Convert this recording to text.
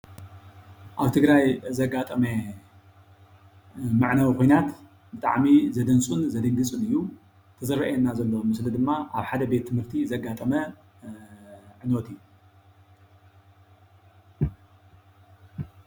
ኣብ ትግራይ ኣብ ዘጋጠመ መዕነዊ ኩናት ብጣዕሚ ዘደንፅውን ዘደንግፅን እዩ፡፡ ዝረአየና ዘሎ ኣብ ምስሊ ድማ ኣብ ሓደ ቤት ትምህርቲ ዘጋጠመ ዕንወት እዩ፡፡